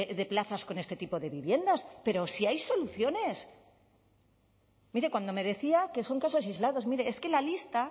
de plazas con este tipo de viviendas pero si hay soluciones mire cuando me decía que son casos aislados mire es que la lista